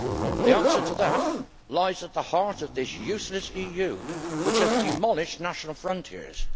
The answer to that lies at the heart of this useless EU, which has demolished national frontiers.